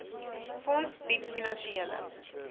fonds bied finansiële